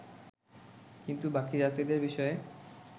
কিন্তু বাকি যাত্রীদের বিষয়ে